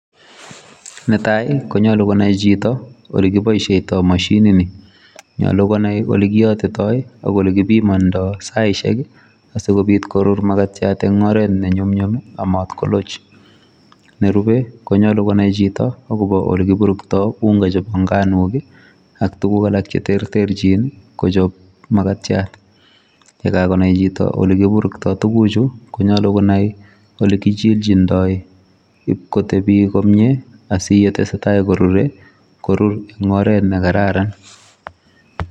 Netai, konyolu konai chito oli kiboisieitoi mashini ni. Nyolu konai ole kiyotitoi ak ole kibimondoi saishek, asikobit korur makatiat eng oret ne nyumnyum, ak mat koloch. Nerube, konyolu konai chito agobo oli kiburktoi unga chebo nganok, ak tuguk alak che terterchin kochob makatiat. Ye kagonai chito oli kiburuktoi tuguchu, konyolu konai ole kichichindoi ibkotebi komye asiyetesetai korure korur eng oret ne kararan.